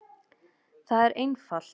Það er einfalt.